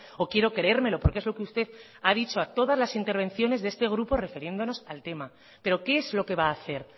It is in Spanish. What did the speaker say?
o quiero creérmelo porque es lo que usted ha dicho en todas las intervenciones de este grupo refiriéndonos al tema pero qué es lo que va a hacer